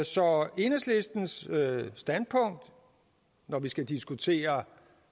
så enhedslistens standpunkt når vi skal diskutere